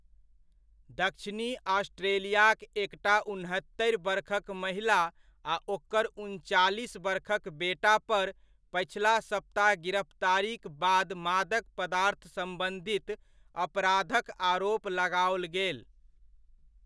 दक्षिणी ऑस्ट्रेलियाक एकटा उनहत्तरि बरखक महिला आ ओकर उनचालिस बरखक बेटा पर पछिला सप्ताह गिरफ्तारीक बाद मादक पदार्थ सम्बन्धित अपराधक आरोप लगाओल गेल।